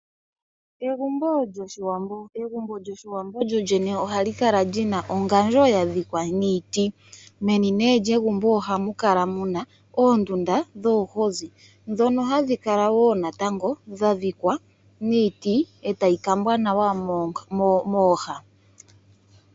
Egumbo lyOshiwambo lyolyene ohali kala li na ongadjo ya dhikwa niiti. Meni lyegumbo ohamu kala aandunda dhoomwiidhi, nomikala dha dhikwa niiti, e tayi kambwa nawa mooha.